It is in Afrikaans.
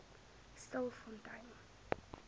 stilfontein